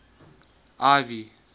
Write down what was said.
ivy